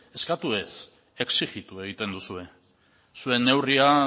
eskatu ez exijitu egiten duzue zuen neurria